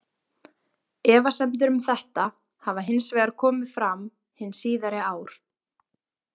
Efasemdir um þetta hafa hins vegar komið fram hin síðari ár.